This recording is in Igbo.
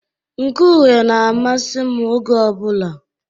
Nke uhe na-amasị m oge ọbụla.